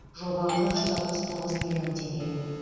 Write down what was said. жоба құны жүз алпыс тоғыз миллион теңге